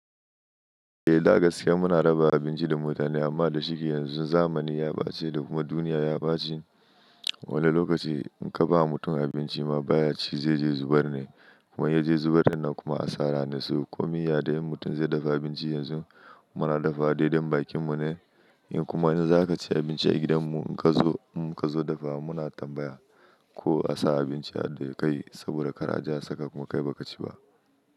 Eh, da gaskiya mu na raba abinci da mutane amma da shike yanzu zamani ya bace da kuma duniya ya bace. Wani lokaci in ka ba mutum abinci ma baya ci zai je zubar ne, kuma ya je zubar nan kuma a tsara na su. Komi ya dai mutum zai dafa abinci yanzu mu na dafawa daidai bakin mu ne in kuma in za ka ci abinci a gidan mu in ka zo, in ka zo dafawa mu na tambaya ko a sa abinci a do kai saboda kar a ji a saka kuma kai ba ka ci ba.